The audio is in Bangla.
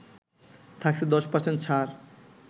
থাকছে ১০% ছাড়